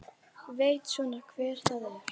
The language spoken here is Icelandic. Veit svona hver það er.